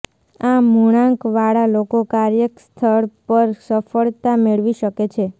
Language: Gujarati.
આ મૂળાંકવાળા લોકો કાર્યસ્થળ પર સફળતા મેળવી શકે છે